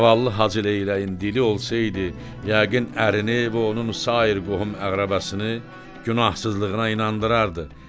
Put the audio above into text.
Zavallı Hacıleyləyin dili olsaydı yəqin ərini və onun sair qohum-əqrəbasını günahsızlığına inandırardı.